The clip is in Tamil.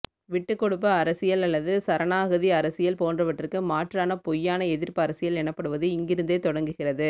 விட்டுக்கொடுப்பு அரசியல் அல்லது சரணாகதி அரசியல் போன்றவற்றுக்கு மாற்றான மெய்யான எதிர்ப்பு அரசியல் எனப்படுவது இங்கிருந்தே தொடங்குகிறது